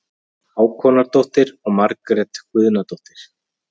Hákonardóttir og Margrét Guðnadóttir.